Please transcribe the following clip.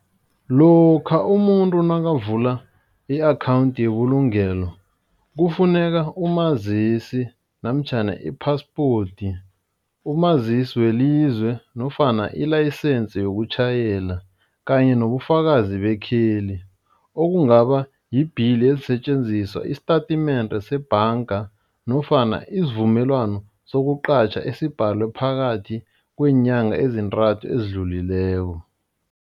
Lokha umuntu nakavula i-akhawundi yebulungelo, kufuneka umazisi namtjhana i-passport, umazisi welizwe nofana ilayisense yokutjhayela kanye nobufakazi bekheli okungaba i-bill yeensetjenziswa, isitatimende sebhanga nofana isivumelwano kosuqatjha, esibhalwe phakathi kweenyanga ezintathu ezidlulileko.